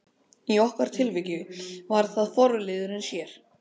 Í okkar tilviki var það forliðurinn sér.